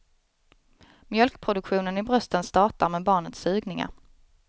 Mjölkproduktionen i brösten startar med barnets sugningar.